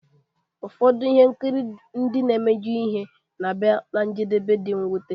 Ụfọdụ ihe nkiri ndị na-emejọ ihe na-abịa ná njedebe dị mwute